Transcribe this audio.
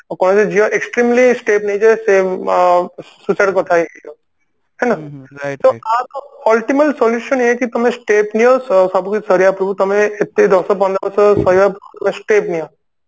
କୌଣସି ଝିଅ extremely step ନେଇଯାଏ ସେ ଅ suicide କରିଥାଏ ହେଲା ତ ultimate solution ଏଇଆ କି ତମେ step ନିଆ ସବୁକିଛି ସରିବା ପୂର୍ବରୁ ତମେ ଏତେ ଦଶ ପନ୍ଦର ବର୍ଷ ସହିବା ଅଗୁରୁ step ନିଅ